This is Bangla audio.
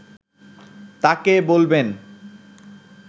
তাঁকে বলবেন